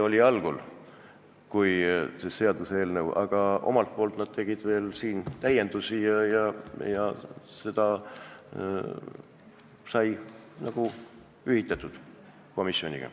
Alguses nad ei toetanud, aga pärast tegid ise täiendusi ja see kõik sai komisjoniga kooskõlastatud.